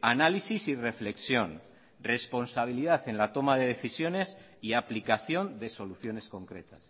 análisis y reflexión responsabilidad en la toma de decisiones y aplicación de soluciones concretas